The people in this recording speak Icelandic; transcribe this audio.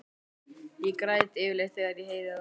Ég græt yfirleitt þegar ég heyri það.